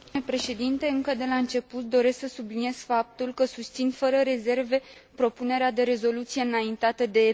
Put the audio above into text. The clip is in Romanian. Încă de la început doresc să subliniez faptul că susțin fără rezerve propunerea de rezoluție înaintată de PPE.